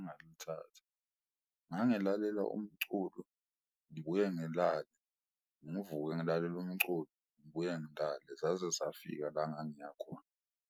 Engal'thatha, ngangilalela umculo ngibuye ngilale ngivuke ngilalele umculo, ngibuye ngilale zaze safika la ngangiya khona.